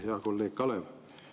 Hea kolleeg Kalev!